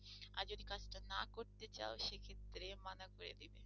আর যদি কাজটা না করতে চাও সে ক্ষেত্রে মানা করে দিবে।